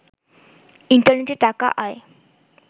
ইন্টারনেটে টাকা আয়